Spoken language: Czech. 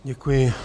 Děkuji.